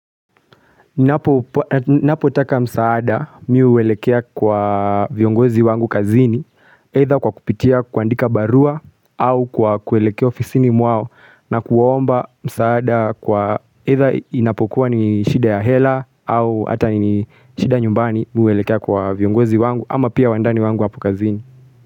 Ni napotaka msaada miu uwelekea kwa viongozi wangu kazini either kwa kupitia kuandika barua au kwa kuelekea ofisini mwao na kuomba msaada kwa either inapokuwa ni shida ya hela au hata ni shida nyumbani mi huelekea kwa viongozi wangu ama pia wandani wangu hapo kazini.